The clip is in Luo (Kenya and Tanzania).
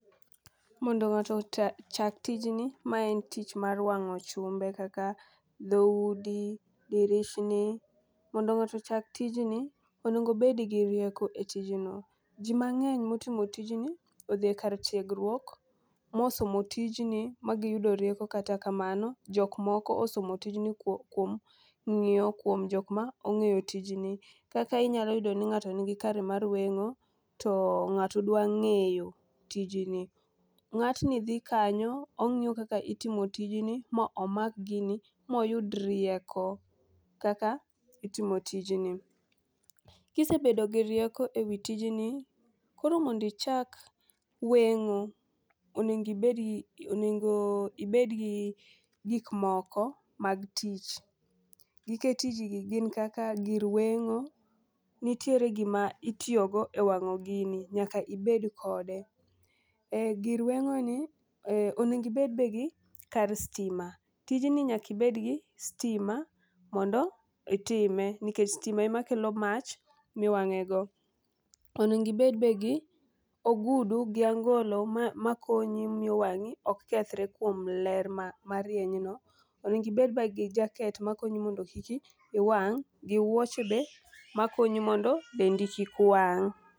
Mondo ng'ato ochak tijni, mae en tich mar wang'o chumbe kaka dhoudi, dirishni. Mondo ng'ato ochak tijno, onego obed gi rieko e tijno. Ji mang'eny motimo tijni, odhi e kar tiegruok mosomo tijni, ma giyudo rieko kata kamano, jok moko osomo tijni kuom ng'iyo kuom jok ma ong'eyo tijni. Kaka inyalo yudoni ng'ato nigi kare mar weng'o, to ng'ato dwa ng'eyo tijni, ng'atni dhi kanyo ong'iyo kaka itimo tijni, mo omak gini moyud rieko kaka itimo tijni. Kisebedo gi rieko e wi tijni, koro mondo ichak weng'o, onego ibed gi gik moko mag tich, gike tijni gin kaka gir weng'o, nitiere gima itiyogo e wang'o gini, nyaka ibed kode, gir weng'oni onego ibed be gi kar stima, tijni nyaka ibedgi sitima mondo itime, nikech stima emakelo mach miwang'e go, onego ibed be gi ogudu gi angolo makonyi miyo wang'i ok kethre kuom ler marienyno, onego ibed be gi jaket makonyi mondo kik iwang' gi wuoche be makonyi mondo dendi kik wang'.